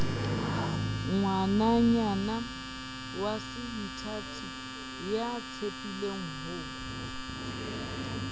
ngwananyana waseithati ya tshepileng ho